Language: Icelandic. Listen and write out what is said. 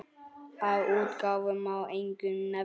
Af útgáfum má einkum nefna